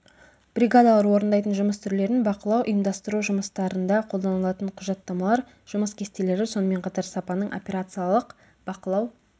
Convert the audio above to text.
бригадалар орындайтын жұмыс түрлерін бақылау ұйымдастыру жұмыстарында қолданылатын құжаттамалар жұмыс кестелері сонымен қатар сапаның операциялық бақылау